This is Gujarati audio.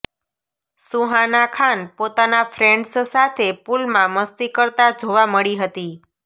સુહાના ખાન પોતાના ફ્રેન્ડ્સ સાથે પુલમાં મસ્તી કરતાં જોવા મળી હતી